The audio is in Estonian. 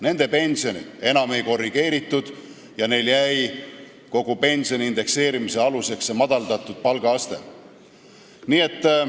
Nende pensione enam ei korrigeeritud, neil on kogu pensioni indekseerimise aluseks jäänud see madaldatud palgaaste.